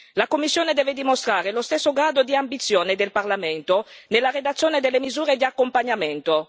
La Commissione deve dimostrare lo stesso grado di ambizione del Parlamento nella redazione delle misure di accompagnamento.